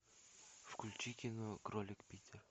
включи кино кролик питер